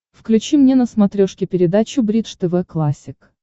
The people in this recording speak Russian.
включи мне на смотрешке передачу бридж тв классик